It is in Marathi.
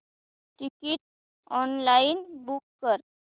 टिकीट ऑनलाइन बुक कर